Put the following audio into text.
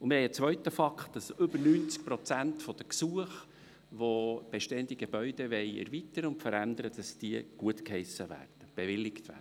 Ein zweiter Fakt ist, dass mehr als 90 Prozent der Gesuche, die verlangen, bestehende Gebäude zu erweitern oder zu verändern, bewilligt werden.